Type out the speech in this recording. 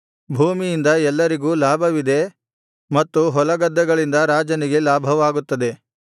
ಭೂಮಿಯಿಂದ ಎಲ್ಲರಿಗೂ ಲಾಭವಿದೆ ಮತ್ತು ಹೊಲಗದ್ದೆಗಳಿಂದ ರಾಜನಿಗೆ ಲಾಭವಾಗುತ್ತದೆ